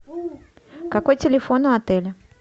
какой телефон у отеля